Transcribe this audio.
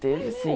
Teve, sim.